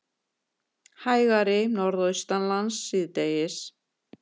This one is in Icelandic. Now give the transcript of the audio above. Hægari Norðaustanlands síðdegis